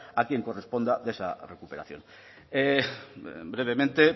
a quien corresponda de esa recuperación brevemente